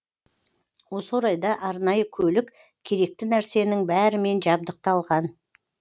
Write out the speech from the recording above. осы орайда арнайы көлік керекті нәрсенің бәрімен жабдықталған